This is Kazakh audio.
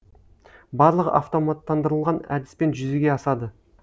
барлығы автоматтандырылған әдіспен жүзеге асады